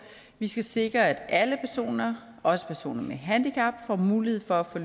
vi skal sikre at alle personer og også personer med handicap får mulighed for at